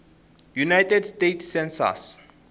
united states census